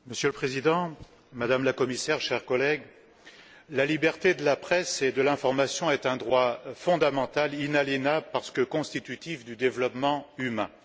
Monsieur le Président, Madame la Commissaire, chers collègues, la liberté de la presse et de l'information est un droit fondamental et inaliénable, parce que constitutif du développement humain.